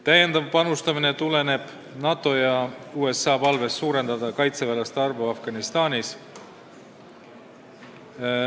Täiendav panustamine tuleneb NATO ja USA palvest suurendada meie tegevväelaste arvu Afganistanis.